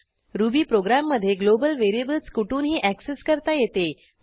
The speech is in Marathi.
रुबी प्रोग्रॅम मधे ग्लोबल व्हेरिएबल्स कुठुनही ऍक्सेस करता येते